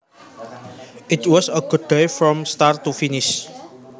It was a good day from start to finish